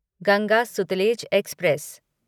Ganga Sutlej express